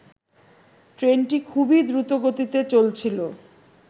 ট্রেনটি খুবই দ্রুতগতিতে চলছিলো